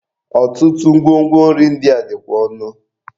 Ọtụtụ ngwo ngwo nri ndị a dịkwa ọnụ.